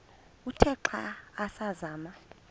uthe xa asazama